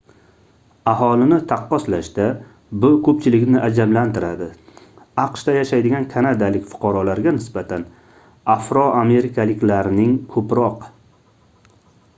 aholini taqqoslashda bu koʻpchilikni ajablantiradi aqshda yashaydigan kanadalik fuqarolarga nisbatan afroamerikaliklarning koʻproq